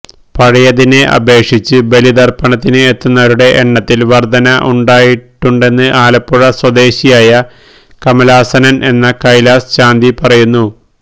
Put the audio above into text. പഴയതിനെ അപേക്ഷിച്ച് ബലിതർപ്പണത്തിന് എത്തുന്നവരുടെ എണ്ണത്തിൽ വർധന ഉണ്ടായിട്ടുണ്ടെന്ന് ആലപ്പുഴ സ്വദേശിയായ കമലാസനൻ എന്ന കൈലാസ് ശാന്തി പറയുന്നു